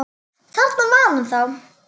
Þarna var hann þá!